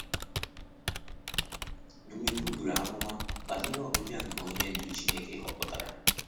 Dumebi buru amụma banyere ọbịbịa nke Onye Ndu Chineke họpụtara.